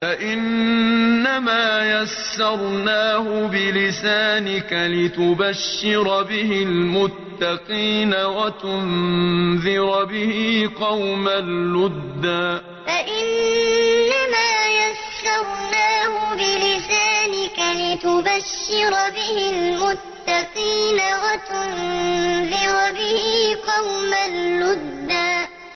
فَإِنَّمَا يَسَّرْنَاهُ بِلِسَانِكَ لِتُبَشِّرَ بِهِ الْمُتَّقِينَ وَتُنذِرَ بِهِ قَوْمًا لُّدًّا فَإِنَّمَا يَسَّرْنَاهُ بِلِسَانِكَ لِتُبَشِّرَ بِهِ الْمُتَّقِينَ وَتُنذِرَ بِهِ قَوْمًا لُّدًّا